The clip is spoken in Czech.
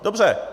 Dobře.